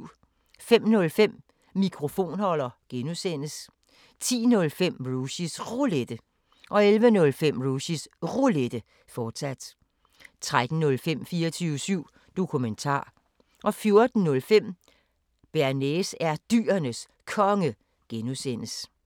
05:05: Mikrofonholder (G) 10:05: Rushys Roulette 11:05: Rushys Roulette, fortsat 13:05: 24syv Dokumentar 14:05: Bearnaise er Dyrenes Konge (G)